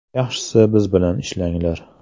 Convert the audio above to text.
Yaxshisi biz bilan ishlanglar.